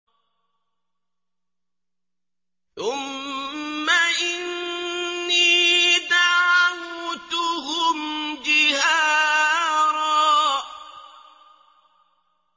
ثُمَّ إِنِّي دَعَوْتُهُمْ جِهَارًا